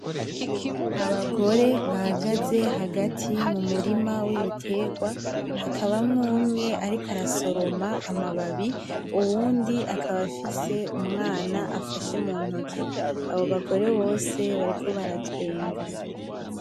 Abagore bahagaze hagati mu murima w’ Ibitegwa, hakabamwo umwe ariko arasoroma amababi, uwundi akaba afise umwana afashe mu ntoke. Abo bagore bose bariko baratwenga.